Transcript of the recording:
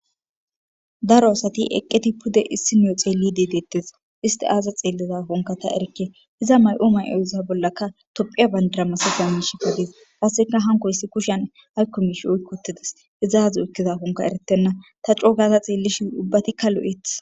Daro asati eqqeti pude issi nio xeellidi deettes isti aaza xeelliza hunka ta erkke iza may'u may'oyza bollaka tophiya bandara masifaanish kudis passeka hankoyissi kushan haykko mish oykkotides izaazu ekkiza hunka eretenna ta coo gaza xeellishi ubbatikka lu'eth.